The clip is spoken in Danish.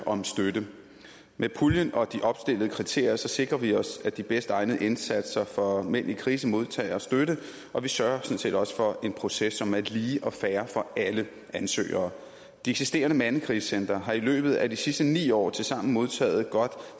om støtte med puljen og de opstillede kriterier sikrer vi os at de bedst egnede indsatser for mænd i krise modtager støtte og vi sørger sådan set også for en proces som er lige og fair for alle ansøgere de eksisterende mandekrisecentre har i løbet af de sidste ni år tilsammen modtaget godt